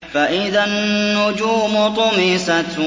فَإِذَا النُّجُومُ طُمِسَتْ